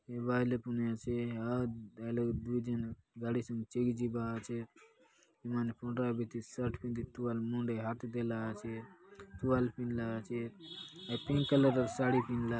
ये बायले पनि आचे हा हाय लगे दूय झन गाड़ी संगे चेगी जिबा आचेत हय मन पंडरा बीति शर्ट पिंदी तुआल मुंडे हाथे देला आचे तुआल पिंधला आचे हाय पिंक कलर साड़ी पिंधला --